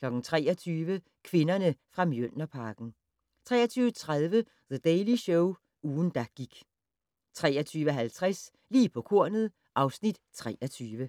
23:00: Kvinderne fra Mjølnerparken 23:30: The Daily Show - ugen, der gik 23:50: Lige på kornet (Afs. 23)